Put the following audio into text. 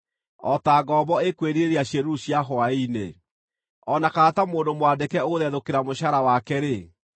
O ta ngombo ĩkwĩrirĩria ciĩruru cia hwaĩ-inĩ, o na kana ta mũndũ mwandĩke ũgũthethũkĩra mũcaara wake-rĩ,